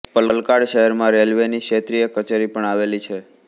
પાલક્કાડ શહેરમાં રેલવેની ક્ષેત્રીય કચેરી પણ આવેલી છે